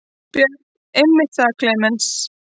Björn: Einmitt það Klemenz.